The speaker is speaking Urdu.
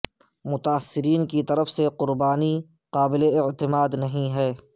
متاثرین کی طرف سے قربانی قابل اعتماد نہیں ہیں